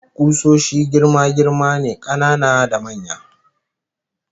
Kusoshi girma-girma ne, kanana da manya